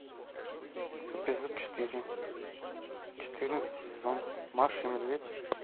эпизод четыре четырнадцатый сезон маша и медведь